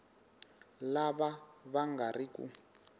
lava va nga ri ku